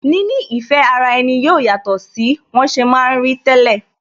Níní ìfẹ́ ara ẹni yóò yàtọ̀ sí wọn ṣe ma ń rí tẹ́lẹ̀